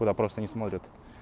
куда просто не смотрят